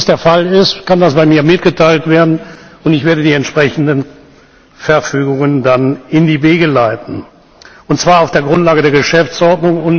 Wenn dies der Fall ist, kann mir das mitgeteilt werden, und ich werde dann die entsprechenden Verfügungen in die Wege leiten, und zwar auf der Grundlage der Geschäftsordnung.